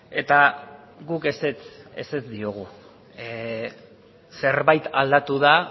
eta guk ezetz diogu zerbait aldatu da